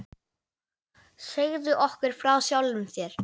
Segðu okkur frá sjálfum þér.